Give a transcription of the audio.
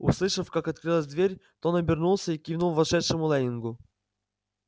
услышав как открылась дверь тон обернулся и кивнул вошедшему лэннингу